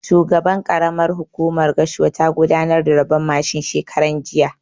Shugaban ƙaramar hukumar Gashua ta gudanar da rabon mashin shekaran jiya